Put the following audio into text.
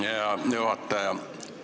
Hea juhataja!